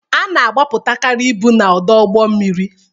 Ana agbapụtakari ibu na-ọdụ ụgbọ mmiri.